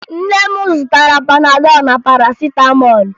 Nne m zụtara Panadọ na Parasịtamọọlụ